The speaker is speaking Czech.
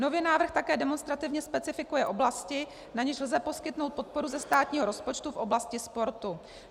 Nově návrh také demonstrativně specifikuje oblasti, na něž lze poskytnout podporu ze státního rozpočtu v oblasti sportu.